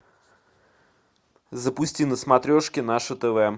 запусти на смотрешке наше тв